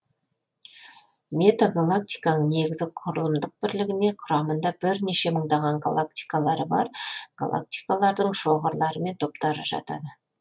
метагалактиканың негізгі құрылымдық бірлігіне құрамында бірнеше мыңдаған галактикалары бар галактикалардың шоғырлары мен топтары жатады